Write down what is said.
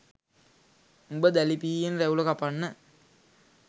උඹ දැලි පිහියෙන් රැවුල කපන්න